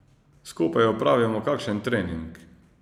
Skupaj opravimo kakšen trening.